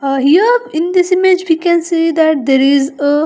Aha here in this image we can see the there is a --